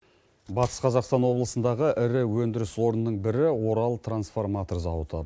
батыс қазақстан облысындағы ірі өндіріс орнының бірі орал трансформатор зауыты